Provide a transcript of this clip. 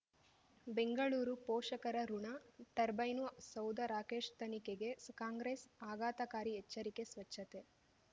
ಬೆಂಗಳೂರು ಪೋಷಕರಋಣ ಟರ್ಬೈನು ಸೌಧ ರಾಕೇಶ್ ತನಿಖೆಗೆ ಕಾಂಗ್ರೆಸ್ ಆಘಾತಕಾರಿ ಎಚ್ಚರಿಕೆ ಸ್ವಚ್ಛತೆ